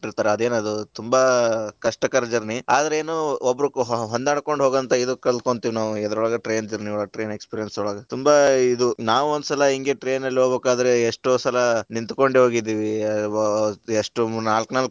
ಹೊಂಟಿರತರ ಅದೇನ ಅದು ತುಂಬಾ ಕಷ್ಟ ಕರ journey , ಅದ್ರ ಏನು ಒಬ್ರು ಹೊಂದಾಣಿಕೊಂಡ ಹೋಗುವಂತ ಇದನ್ನ ಕಲಕೊಂತಿವಿ ನಾವ ಎದರೊಳಗ train journey ಒಳಗ, train experience ಒಳಗ, ತುಂಬಾ ಇದು ನಾವ ಒಂದ ಸಲಾ ಹಿಂಗೇ train ಲ್ಲಿ ಹೋಗ್ಬೇಕಾದ್ರೆ, ಎಷ್ಟೋ ಸಲಾ ನಿಂತಕೊಂಡೆ ಹೋಗಿದೀವಿ, ಎಷ್ಟ್ ನಾಲ್ಕ ನಾಲ್ಕ.